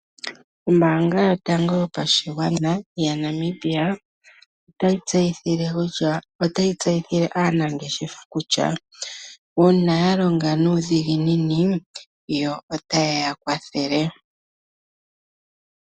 Ombaanga yotango yopashigwana yaNamibia otayi tseyithile aanangeshefa kutya, uuna yalonga nuudhiginini, yo otayi ya kwathele.